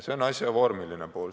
See on asja vormiline pool.